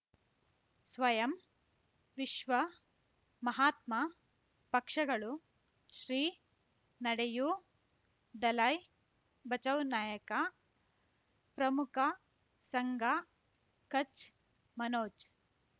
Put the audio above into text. ಸ್ವಯಂ ವಿಶ್ವ ಮಹಾತ್ಮ ಪಕ್ಷಗಳು ಶ್ರೀ ನಡೆಯೂ ದಲೈ ಬಚೌ ನಾಯಕ ಪ್ರಮುಖ ಸಂಘ ಕಚ್ ಮನೋಜ್